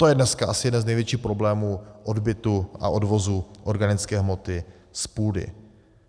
To je dneska asi jeden z největších problémů odbytu a odvozu organické hmoty z půdy.